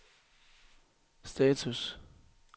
status